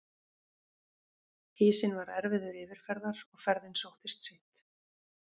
Ísinn var erfiður yfirferðar og ferðin sóttist of seint.